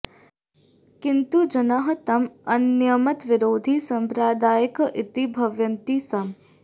किन्तु जनाः तम् अन्यमतविरोधी साम्प्रदायिकः इति भावयन्ति स्म